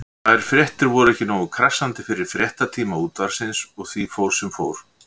Þær fréttir voru ekki nógu krassandi fyrir fréttatíma Útvarpsins og því fór sem fór.